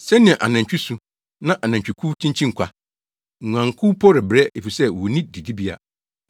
Sɛnea anantwi su! na anantwikuw kyinkyin kwa. Nguankuw mpo rebrɛ efisɛ wonni didibea.